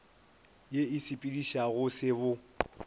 ye e sepedišago se bo